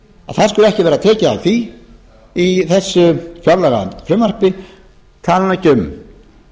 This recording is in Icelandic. skuli ekki vera tekið á því í þessu fjárlagafrumvarpi ég tala nú ekki um